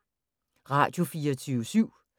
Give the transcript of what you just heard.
Radio24syv